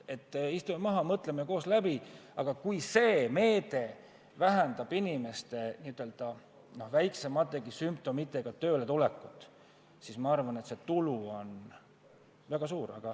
Istume maha ja mõtleme koos asjad läbi, aga kui see meede vähendab inimeste tööle tulekut kas või väiksemategi sümptomitega, siis ma arvan, et see tulu on väga suur.